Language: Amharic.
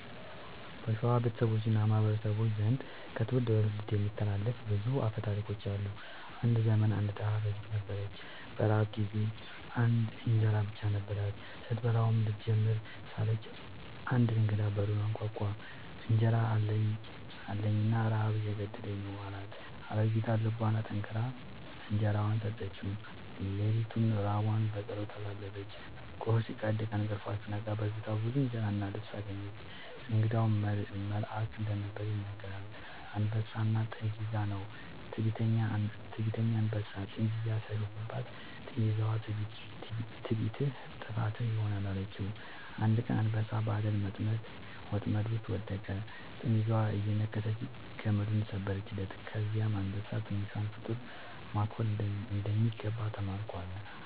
በሸዋ ቤተሰቦች እና ማህበረሰቦች ዘንድ ከትውልድ ወደ ትውልድ የሚተላለፉ ብዙ አፈ ታሪኮች አሉ። አንድ ዘመን አንድ ድሃ አሮጊት ነበረች። በረሃብ ጊዜ አንድ እንጀራ ብቻ ነበራት። ስትበላው ልትጀምር ሳለች አንድ እንግዳ በሩን አንኳኳ፤ «እንጀራ አለኝን? ረሃብ እየገደለኝ ነው» አላት። አሮጊቷ ልቧን አጠንክራ እንጀራዋን ሰጠችው። ሌሊቱን ራቧን በጸሎት አሳለፈች። ጎህ ሲቀድ ከእንቅልፏ ስትነቃ በፊቷ ብዙ እንጀራ እና ልብስ አገኘች። እንግዳው መልአክ እንደነበር ይነገራል። «አንበሳና ጥንዚዛ» ነው። ትዕቢተኛ አንበሳ ጥንዚዛን ሲያሾፍባት፣ ጥንዚዛዋ «ትዕቢትህ ጥፋትህ ይሆናል» አለችው። አንድ ቀን አንበሳ በአደን ወጥመድ ውስጥ ወደቀ፤ ጥንዚዛዋ እየነከሰች ገመዱን ሰበረችለት። ከዚያ አንበሳ «ትንሿን ፍጡር ማክበር እንደሚገባ ተማርኩ» አለ